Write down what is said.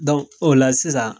Don ola sisan